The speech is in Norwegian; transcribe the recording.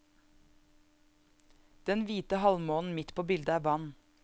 Den hvite halvmånen midt på bildet er vann.